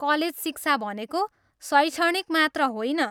College शिक्षा भनेको शैक्षणिक मात्र होइन।